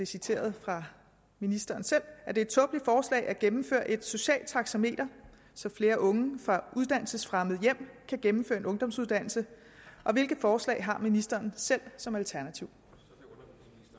citeret fra ministeren selv at gennemføre et socialt taxameter så flere unge fra uddannelsesfremmede hjem kan gennemføre en ungdomsuddannelse og hvilke forslag har ministeren selv som alternativ